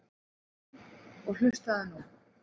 En. og hlustaðu nú